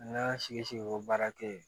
An ka sigi sigi ko baara kɛ yen